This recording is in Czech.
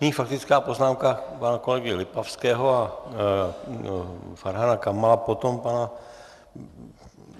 Nyní faktická poznámka pana kolegy Lipavského a Farhana Kamala, potom pana...